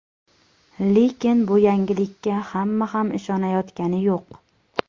Lekin bu yangilikka hamma ham ishonayotgani yo‘q.